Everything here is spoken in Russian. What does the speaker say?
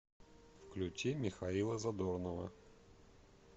включи михаила задорнова